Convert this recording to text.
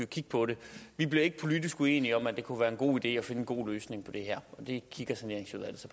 kigge på det vi bliver ikke politisk uenige om at det kunne være en god idé at finde en god løsning på det her og det kigger saneringsudvalget så